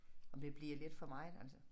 Om det bliver lidt for meget altså